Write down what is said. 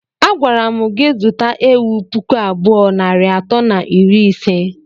Agwara mụ gị zụta ewụ pụkụ abụọ nari atọ na iri ise!!!!!